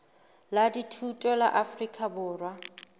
la dithuto la afrika borwa